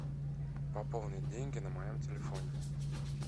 пополнить деньги на моем телефоне